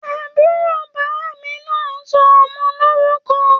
Àbúrò bàmí nà sọ ọmọ lórùkọ